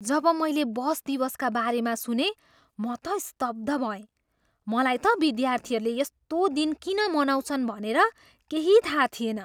जब मैले बस दिवसका बारेमा सुनेँ म त स्तब्ध भएँ। मलाई त विद्यार्थीहरूले यस्तो दिन किन मनाउँछन् भनेर केही थाहा थिएन।